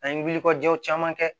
An ye wulikajɔw caman kɛ